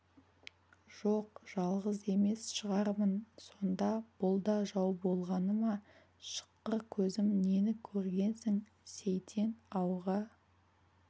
жоқ жалғыз емес шығармын сонда бұл да жау болғаны ма шыққыр көзім нені көргенсің сейтен ауға